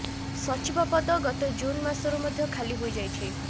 ସଚିବ ପଦ ଗତ ଜୁନ ମାସରୁ ମଧ୍ୟ ଖାଲି ହୋଇଯାଇଛି